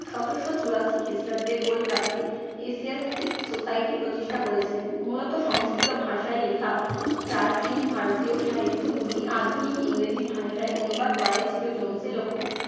সতেরশো চুরাশি খ্রিস্টাব্দে কলকাতায় এশিয়াটিক সোসাইটি প্রতিষ্ঠা করেছিলেন। মূলত সংস্কৃত ভাষায় লেখা প্রাচীন ভারতীয় সাহিত্যগুলি আধুনিক ইংরেজি ভাষায় অনুবাদ করাই ছিল জোন্সের লক্ষ্য।